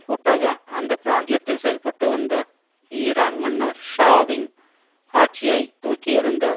கூட்டாக அந்த பிராந்தியத்தில் செயல்பட்டுவந்த ஈரான் மன்னர் ஷா வின் ஆட்சியை தூக்கியெறிந்த